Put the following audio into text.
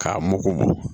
K'a mugu mugu